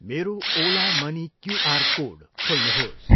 मेरो Ola money QR code खोल्नुहोस्।